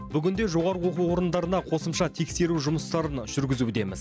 бүгінде жоғары оқу орындарына қосымша тексеру жұмыстарын жүргізудеміз